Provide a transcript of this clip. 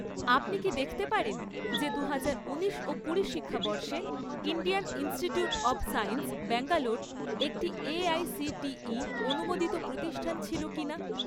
আপনি কি দেখতে পারেন যে দুহাজার উনিশ ও কুড়ি শিক্ষাবর্ষে Indian Institute of Science Bangalore একটি এআইসিটিই অনুমোদিত প্রতিষ্ঠান ছিল কিনা?